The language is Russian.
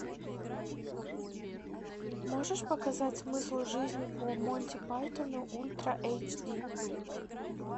можешь показать смысл жизни по монти пайтону ультра эйч ди